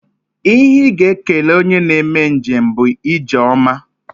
Ihe ị ga-ekele onye na-eme njem bụ ije ọma